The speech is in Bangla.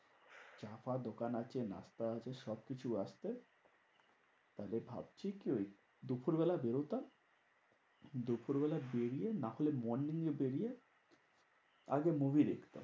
চা ফা দোকান আছে নাস্তা আছে সবকিছু আছে। তাহলে ভাবছি কি? ওই দুপুরবেলা বেরোতাম, দুপুরবেলা বেরিয়ে নাহলে morning এ বেরিয়ে আগে movie দেখতাম।